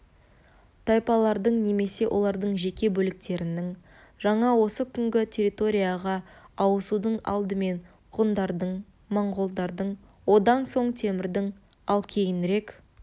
тайпалардың немесе олардың жеке бөліктерінің жаңа осы күнгі территорияға ауысудың алдымен гундардың монғолдардың одан соң темірдің ал кейінірек